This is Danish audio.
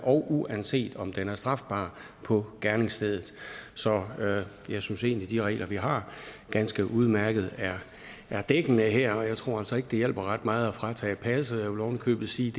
og uanset om den er strafbar på gerningsstedet så jeg synes egentlig at de regler vi har ganske udmærket er dækkende her og jeg tror altså ikke det hjælper ret meget at fratage dem passet jeg vil ovenikøbet sige